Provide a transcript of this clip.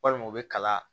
Walima u bɛ kala